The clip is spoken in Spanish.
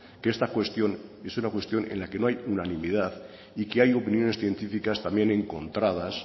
que esta cuestión es una cuestión en la que no hay unanimidad y que hay opiniones científicas también encontradas